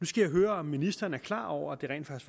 skal jeg høre om ministeren er klar over at det rent